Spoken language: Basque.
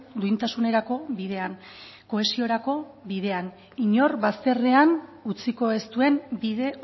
duintasunerako bidean kohesiorako bidean inor bazterrean utziko ez duen bide